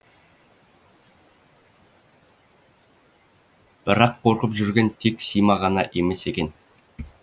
бірақ қорқып жүрген тек сима ғана емес екен